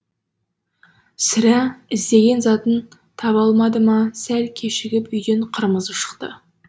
сірә іздеген затын таба алмады ма сәл кешігіп үйден қырмызы шықты